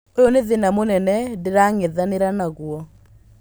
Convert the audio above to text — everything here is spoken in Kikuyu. "ũyũ ni thĩna mũnene ndĩrang'ethanĩra naguo".